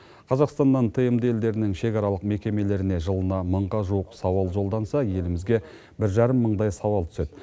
қазақстаннан тмд елдерінің шекаралық мекемелеріне жылына мыңға жуық сауал жолданса елімізге бір жарым мыңдай сауал түседі